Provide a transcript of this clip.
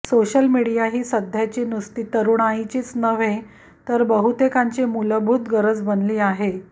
social media ही सध्याची नुसती तरुणाईचीच नव्हे तर बहुतेकांची मूलभूत गरज बनली आहे